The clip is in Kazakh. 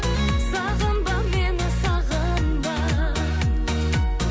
сағынба мені сағынба